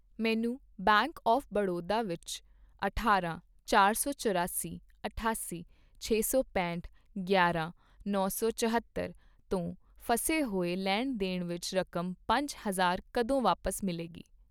ਮੈਨੂੰ bank of Baroda ਵਿੱਚ ਅਠਾਰਾਂ, ਚਾਰ ਸੌ ਚੌਰਾਸੀ, ਅਠਾਸੀ, ਛੇ ਸੌ ਪੈਂਹਠ, ਗਿਆਰ੍ਹਾਂ, ਨੌ ਸੌ ਚੌਹੱਤਰ ਤੋਂ ਫਸੇ ਹੋਏ ਲੈਣ ਦੇਣ ਵਿੱਚ ਰਕਮ ਪੰਜ ਹਜ਼ਾਰ ਕਦੋਂ ਵਾਪਸ ਮਿਲੇਗੀ?